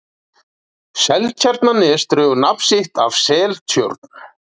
Seltjarnarnes dregur nafn sitt af Seltjörn.